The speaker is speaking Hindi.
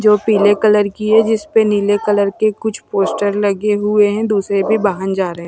जो पीले कलर की है जिस परे नीले कलर के कुछ पोस्टर लगे हुए हैं दूसरे भी बाहन जा रहे हैं।